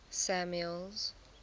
samuel's